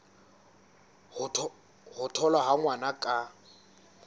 ho tholwa ha ngwana ka